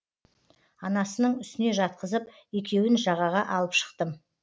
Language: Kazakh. анасының үстіне жатқызып екеуін жағаға алып шықтым